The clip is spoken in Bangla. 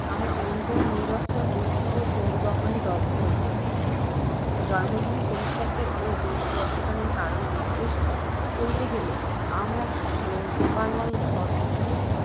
আমার অন্তর নিরন্তর দুঃসহ শোকদহনে দগ্ধ হইতেছে, জন্মভূমি পরিত্যাগের ও দেশপর্য্যটনের কারণ নির্দ্দেশ করিতে গেলে, আমার শোকানল শতগুণ